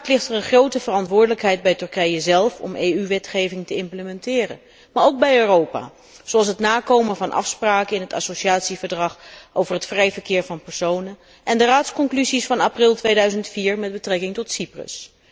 Uiteraard ligt er een grote verantwoordelijkheid bij Turkije zelf om EU wetgeving te implementeren, maar ook bij Europa, zoals het nakomen van afspraken in de associatieovereenkomst over het vrije verkeer van personen en de conclusies van de Raad van april 2004 met betrekking tot Cyprus.